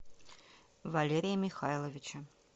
валерия михайловича